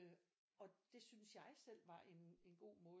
Og det syntes jeg selv var en en god måde at